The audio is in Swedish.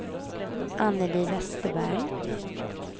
Annelie Westerberg